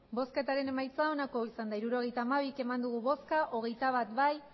hirurogeita hamabi eman dugu bozka hogeita bat bai